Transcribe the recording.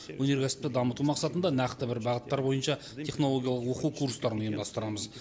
өнеркәсіпті дамыту мақсатында нақты бір бағыттар бойынша технологиялық оқу курстарын ұйымдастырамыз